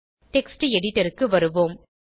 text editor க்கு வருவோம்